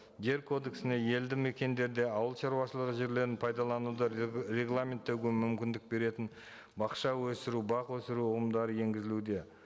жер кодексіне елді мекендерде ауылшаруашылығы жерлерін пайдалануды регламенттеуге мүмкіндік беретін бақша өсіру бақ өсіру ұғымдары енгізілуде